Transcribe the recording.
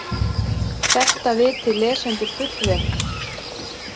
Þetta viti lesendur fullvel.